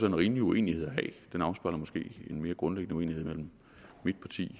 en rimelig uenighed at have den afspejler måske en mere grundlæggende uenighed mellem mit parti